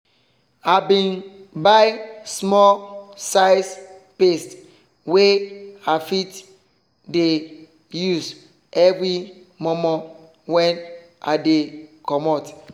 i bin buy small size paste wey i fit dey use every momo when i dey comot.